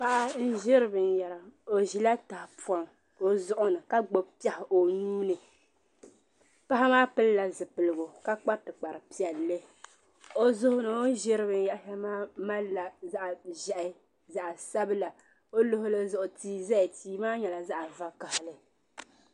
Paɣa n ʒiri binyɛra o ʒila tahapoŋ o zuɣu ni ka gbubi piɛɣu o nuuni paɣa maa pilila zipiligu ka kpa tikpari piɛla o zuɣu ni o ni ʒiri binyɛri shɛŋa maa malila zaɣ ʒiɛhi zaɣ sabila o luɣuli zuɣu tia ʒɛya tia maa nyɛla zaɣ vakaɣali